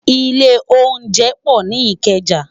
Ilé óunjẹ pò ni Ikeja